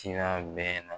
Sira bɛɛ na